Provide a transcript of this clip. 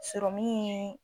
ye